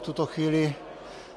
V tuto chvíli